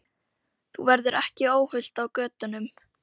Þú verður ekki óhult á götunum.